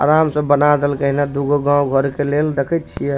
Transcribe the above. आराम से बना देलकई ना दूगो गांव-घर के लेल देखाई छिये --